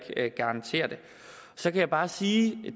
garantere det så kan jeg bare sige